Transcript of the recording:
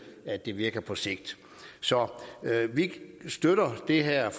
at det virker på sigt så vi støtter det her